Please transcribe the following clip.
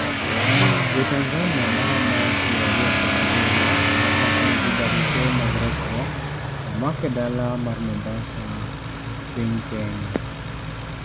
Jo Tanzania maromo 27 ma ok nigi barupe mag resruok omak e dala mar Mombasa, Kenya